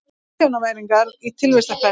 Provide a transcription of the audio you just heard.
Milljónamæringar í tilvistarkreppu